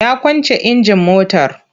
Ya kwance injin motar.